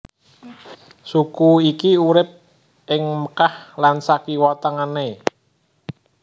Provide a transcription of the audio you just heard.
Suku iki urip ing Mekkah lan sakiwa tengene